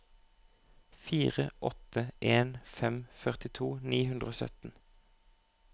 fire åtte en fem førtito ni hundre og sytten